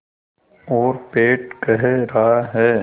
और पेट कह रहा है